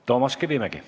Toomas Kivimägi.